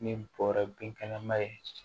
Ni bɔrɛ binkɛnɛ ma ye